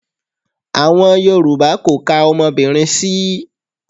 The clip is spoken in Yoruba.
Àwọn Yorùbá kò ka ọmọbìnrin sí.